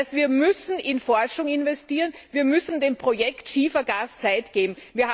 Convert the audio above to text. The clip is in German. Das heißt, wir müssen in Forschung investieren, wir müssen dem Projekt Schiefergas Zeit geben.